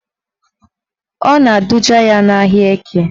Ọ na-eduga ya n'ahịa Eke